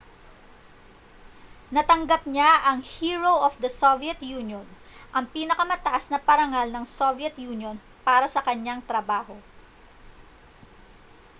natanggap niya ang hero of the soviet union ang pinakamataas na parangal ng soviet union para sa kanyang trabaho